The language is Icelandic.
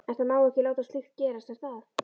En það má ekki láta slíkt gerast er það?